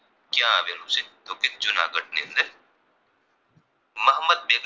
Mohammad Begada